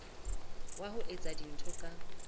wa ho etsa dintho ka